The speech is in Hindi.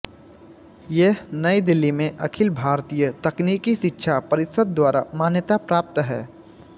यह नई दिल्ली में अखिल भारतीय तकनीकी शिक्षा परिषद द्वारा मान्यता प्राप्त है